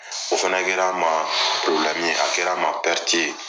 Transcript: O fana kɛra n ma purobilɛmu ye a kɛra n ma pɛriti ye